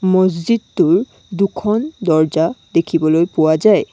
মহজিদটোৰ দুখন দৰ্জা দেখিবলৈ পোৱা যায়।